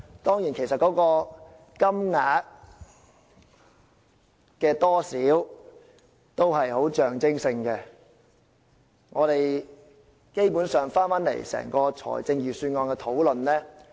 當然，金額其實只是象徵性質，基本上，我們要回到整個財政預算案的討論。